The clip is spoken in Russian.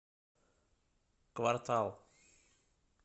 квартал